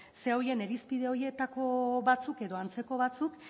zera horien irizpide horietako batzuk edo antzeko batzuk